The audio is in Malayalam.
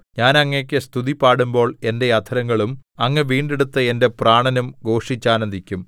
ഞാൻ അങ്ങേക്ക് സ്തുതി പാടുമ്പോൾ എന്റെ അധരങ്ങളും അങ്ങ് വീണ്ടെടുത്ത എന്റെ പ്രാണനും ഘോഷിച്ചാനന്ദിക്കും